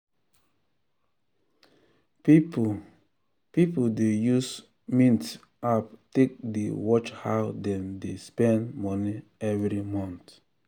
people people dey use mint app take dey watch how dem dey spend money every month.